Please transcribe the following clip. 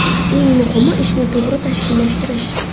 Eng muhimi – ishni to‘g‘ri tashkillashtirish.